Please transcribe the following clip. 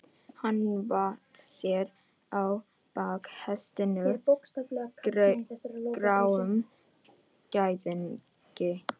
Hann vatt sér á bak hestinum, gráum gæðingi.